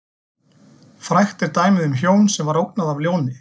Frægt er dæmið um hjón sem ógnað var af ljóni.